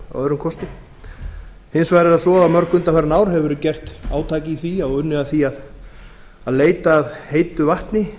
að öðrum kosti hins vegar er það svo að í mörg undanfarin ár hefur verið gert átak í því og unnið að því að leita að heitu vatni